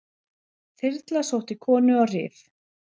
Þyrla sótti konu á Rif